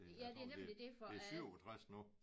Det jeg tror det det 67 nu